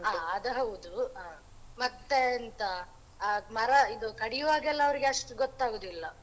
ಹ ಅದ್ ಹೌದು ಹ ಮತ್ತೆ ಎಂತ ಆ ಮರ ಇದು ಕಡಿಯುವಾಗ ಅವ್ರಿಗೆ ಅಷ್ಟು ಗೊತ್ತಾಗುದಿಲ್ಲ.